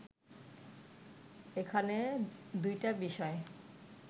এখানে দুইটা বিষয়